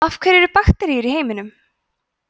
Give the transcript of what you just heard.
af hverju eru bakteríur í heiminum